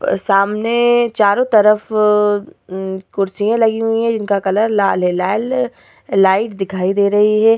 प सामने चारों तरफ उम्म कुर्सियां लगी हुई हैं जिनका कलर लाल है। लाल लाइट दिखाई दे रही है।